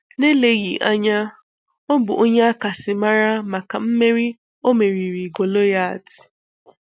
Na-eleghị anya, Ọ bụ onye a kasị mara maka meri O meriri Goliath.